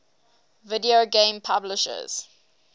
video game publishers